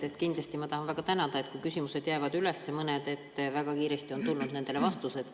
Ma tahan kindlasti väga tänada, et kui mõned küsimused on jäänud üles, siis väga kiiresti on tulnud nendele vastused.